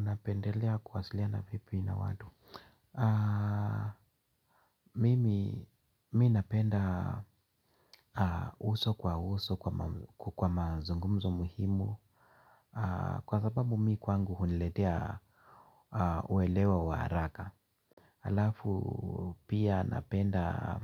Napendelea kuwasilia na vipi na watu. Mimi, mimi napenda uso kwa uso kwa mazungumzo muhimu kwa sababu mimi kwangu huniletea uelewa wa haraka. Alafu pia napenda